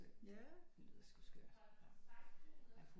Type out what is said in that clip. Det lyder sgu skørt